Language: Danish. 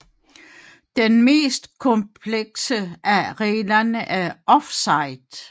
Den mest komplekse af reglerne er offside